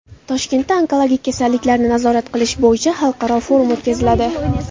Toshkentda onkologik kasalliklarni nazorat qilish bo‘yicha xalqaro forum o‘tkaziladi.